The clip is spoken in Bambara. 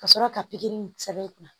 Ka sɔrɔ ka pikiri in sɛbɛn i kunna